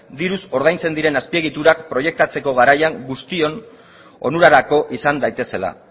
diruz ordaintzen diren azpiegiturak proiektatzeko garaian guztion onurarako izan daitezela